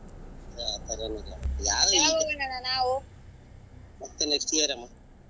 ಏ ಆ ತರಾ ಏನಿಲ್ಲ ಮತ್ತೆ next year ಅಮ್ಮ.